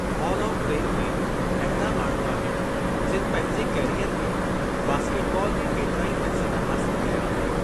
Hall of fame में अहिड़ा माण्हू आहिनि जिनि पंहिंजे कैरीयर में बास्केटबॉल में केतिराई मक़्सदु हासिल कया आहिनि।